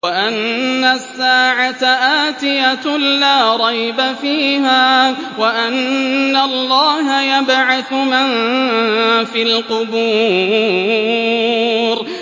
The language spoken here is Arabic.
وَأَنَّ السَّاعَةَ آتِيَةٌ لَّا رَيْبَ فِيهَا وَأَنَّ اللَّهَ يَبْعَثُ مَن فِي الْقُبُورِ